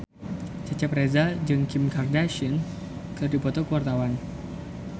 Cecep Reza jeung Kim Kardashian keur dipoto ku wartawan